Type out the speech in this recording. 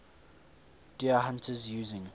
deer hunters using